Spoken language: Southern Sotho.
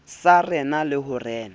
sa rena le ho rena